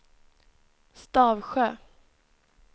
Stavsjö